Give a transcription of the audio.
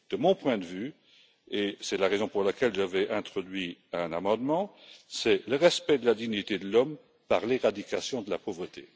De mon point de vue et c'est la raison pour laquelle j'avais introduit un amendement c'est le respect de la dignité de l'homme par l'éradication de la pauvreté.